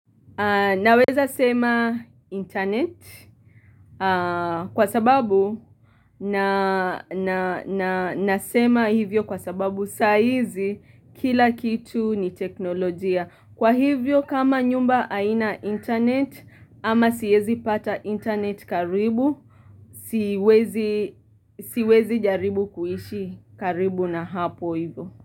Naweza sema internet kwa sababu na nasema hivyo kwa sababu saizi kila kitu ni teknolojia. Kwa hivyo kama nyumba aina internet ama siwezi pata internet karibu, siwezi jaribu kuishi karibu na hapo hivyo.